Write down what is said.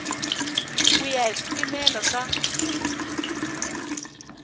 ku ya hi swipimelo swa